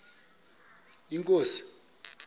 inkosi